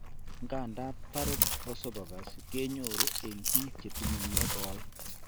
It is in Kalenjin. Nganda , Barret esophagus kenyoru en bik chetinye negoi